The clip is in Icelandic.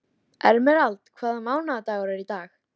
Líður með hann fram í stofuna.